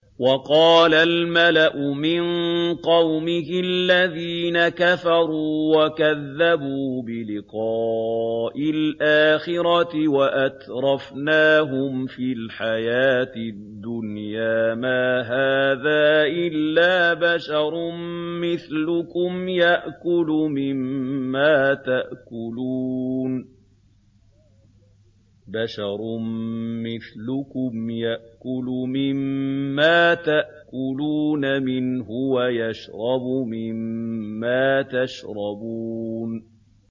وَقَالَ الْمَلَأُ مِن قَوْمِهِ الَّذِينَ كَفَرُوا وَكَذَّبُوا بِلِقَاءِ الْآخِرَةِ وَأَتْرَفْنَاهُمْ فِي الْحَيَاةِ الدُّنْيَا مَا هَٰذَا إِلَّا بَشَرٌ مِّثْلُكُمْ يَأْكُلُ مِمَّا تَأْكُلُونَ مِنْهُ وَيَشْرَبُ مِمَّا تَشْرَبُونَ